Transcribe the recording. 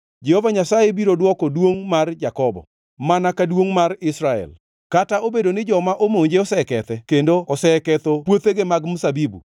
Jehova Nyasaye biro dwoko duongʼ mar Jakobo, mana ka duongʼ mar Israel, kata obedo ni joma omonje osekethe kendo oseketho puothegi mag mzabibu.